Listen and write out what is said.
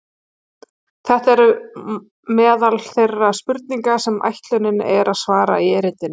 Þetta eru meðal þeirra spurninga sem ætlunin er að svara í erindinu.